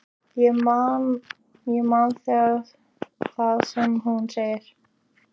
Og ég man það sem hún segir.